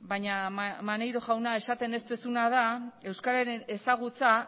baina maneiro jauna esaten ez duzuna da euskararen ezagutza